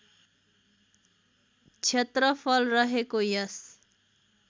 क्षेत्रफल रहेको यस